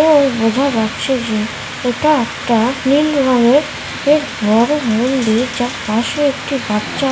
এবং বোঝা যাচ্ছে যে এটা একটা নীল রঙের এর ঘর মন্দির যার পাশে একটি বাচ্চা